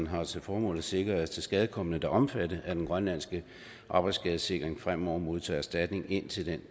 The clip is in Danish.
har til formål at sikre at tilskadekomne der er omfattet af den grønlandske arbejdsskadesikring fremover modtager erstatning indtil den